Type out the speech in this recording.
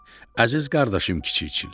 Dedi: Əziz qardaşım Kiçik Çillə.